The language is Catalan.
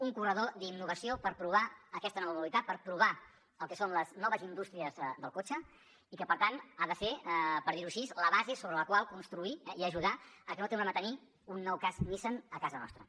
un corredor d’innovació per provar aquesta nova modalitat per provar el que són les noves indústries del cotxe i que per tant ha de ser per dirho així la base sobre la qual construir i ajudar a que no tornem a tenir un nou cas nissan a casa nostra